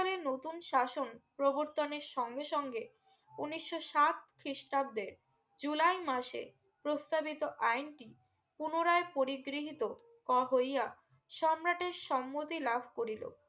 নতুন শাসন প্রর্বতনের সঙ্গে সঙ্গে উনিশশো সাত খ্রিস্টাব্দে জুলাই মাসে প্রস্তাবিত আইন টি পুনরায় পরিগৃহিত ক হইয়া সম্রাটের সম্মতি লাভ করিলো